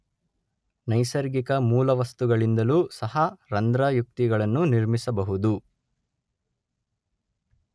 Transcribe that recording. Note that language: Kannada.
ನೈಸರ್ಗಿಕ ಮೂಲ ವಸ್ತುಗಳಿಂದಲೂ ಸಹ ರಂಧ್ರ ಯುಕ್ತಿಗಳನ್ನು ನಿರ್ಮಿಸಬಹುದು